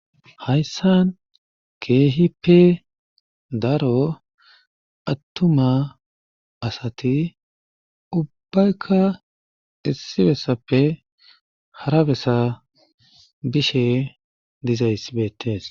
Hayssan keeehippe daro attuma asati ubbayka issi bessaafe hara bessa bishe dizayssi beettees.